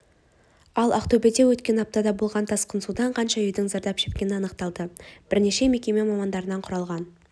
ал ақтөбеде өткен аптада болған тасқын судан қанша үйдің зардап шеккені анықталды бірнеше мекеме мамандарынан құралған